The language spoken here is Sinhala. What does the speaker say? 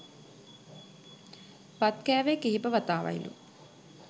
බත් කෑවෙ කීප වතාවයිලු